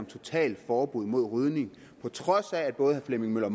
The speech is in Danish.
totalforbud mod rygning på trods af at både herre flemming møller